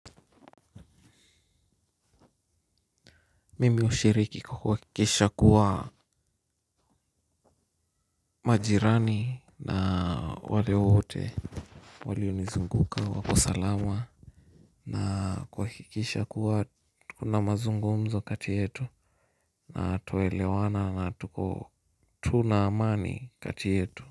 Mimi hushiriki kwa kuhakikisha kuwa majirani na wale wote walionizunguka wako salama na kuhakikisha kuwa kuna mazungumzo kati yetu na tunaelewana na tuko tu na amani kati yetu.